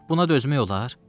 Buna dözmək olar?